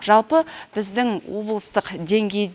жалпы біздің облыстық деңгей